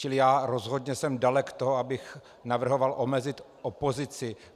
Čili já rozhodně jsem dalek toho, abych navrhoval omezit opozici.